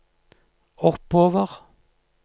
oppover